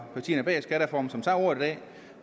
partierne bag skattereformen som tager ordet i dag